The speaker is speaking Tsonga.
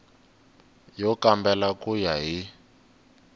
yo kambela ku ya hi